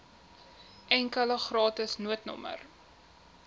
enkele gratis noodnommer